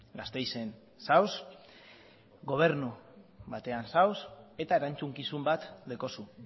gasteizen zaude gobernu batean zaude eta erantzukizun bat daukazu